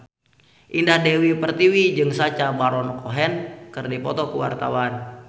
Indah Dewi Pertiwi jeung Sacha Baron Cohen keur dipoto ku wartawan